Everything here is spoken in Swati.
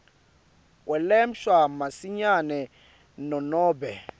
kwelashwa masinyane nanobe